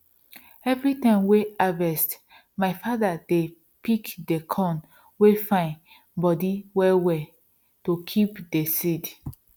every time wey harvest my father dey pik dey corn wey fine body well well to kip dey seed